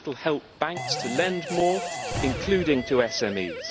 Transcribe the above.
That will help banks to lend more, including to SMEs.